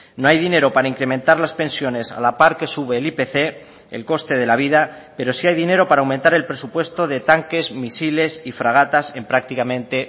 no hay dinero para incrementar las pensiones a la par que sube el ipc el coste de la vida pero sí hay dinero para aumentar el presupuesto de tanques misiles y fragatas en prácticamente